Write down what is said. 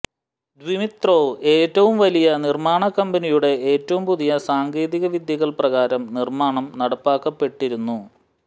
Dmitrov ഏറ്റവും വലിയ നിർമ്മാണ കമ്പനിയുടെ ഏറ്റവും പുതിയ സാങ്കേതികവിദ്യകൾ പ്രകാരം നിർമ്മാണം നടപ്പാക്കപ്പെട്ടിരുന്നു